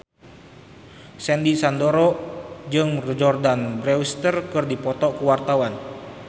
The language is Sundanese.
Sandy Sandoro jeung Jordana Brewster keur dipoto ku wartawan